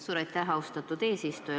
Suur aitäh, austatud eesistuja!